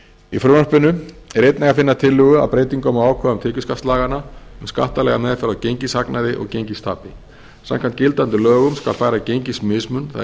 í frumvarpinu er einnig að finna tillögu að breytingum á ákvæðum tekjuskattslaganna um skattalega meðferð á gengishagnaði og gengistapi samkvæmt gildandi lögum skal færa gengismismun það er gengishagnað